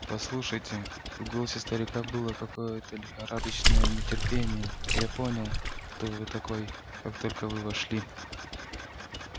послушайте в голосе старика было какое-то лихорадочное нетерпение я понял кто вы такой как только вы вошли